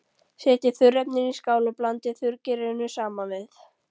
Setjið þurrefnin í skál og blandið þurrgerinu saman við.